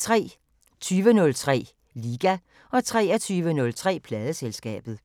20:03: Liga 23:03: Pladeselskabet